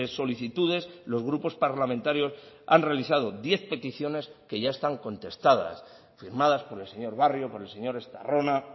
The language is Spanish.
solicitudes los grupos parlamentarios han realizado diez peticiones que ya están contestadas firmadas por el señor barrio por el señor estarrona